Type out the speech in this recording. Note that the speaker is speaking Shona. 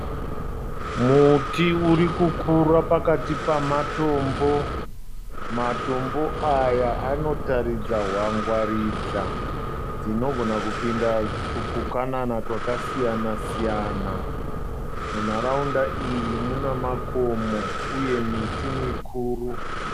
Muti uri kukura pakati pamatombo. Matombo aya anotaridza hwangwaridza dzinogona kupinda tupukanana twakasiyana siyana. Munharaunda iyi muna makomo uye miti mikuru.